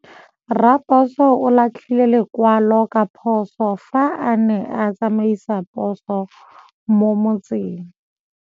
Raposo o latlhie lekwalô ka phosô fa a ne a tsamaisa poso mo motseng.